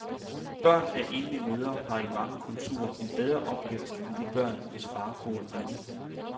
Børn af enlige mødre har i mange kulturer en bedre opvækst, end de børn, hvis far bor hjemme.